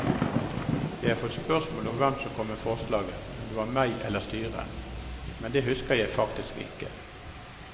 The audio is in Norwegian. Jeg har fått spørsmål om hvem som kom med forslaget om det var meg eller styret, men det husker jeg faktisk ikke.